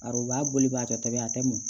Arobaa boliba kɛtɔ ye a tɛ mɔn